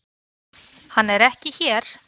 Hann er ekki hér.